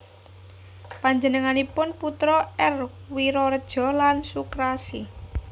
Panjenenganipun putra R Wiroredjo lan Soekarsi